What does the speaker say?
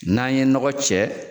N'an ye nɔgɔ cɛ.